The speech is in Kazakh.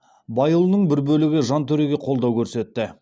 байұлының бір бөлігі жантөреге қолдау көрсетті